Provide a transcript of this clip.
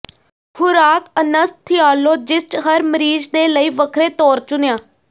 ਖੁਰਾਕ ਅਨੱਸਥੀਆਲੋਜਿਸਟ ਹਰ ਮਰੀਜ਼ ਦੇ ਲਈ ਵੱਖਰੇ ਤੌਰ ਚੁਣਿਆ